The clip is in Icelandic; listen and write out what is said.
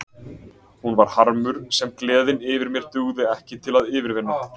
Hún var harmur sem gleðin yfir mér dugði ekki til að yfirvinna